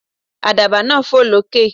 Àdàbà náà fò lókè.